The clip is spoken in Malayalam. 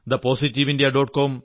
thepositiveindia